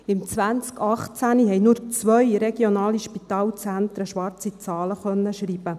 Im Jahr 2018 konnten nur zwei Regionale Spitalzentren (RSZ) schwarze Zahlen schreiben.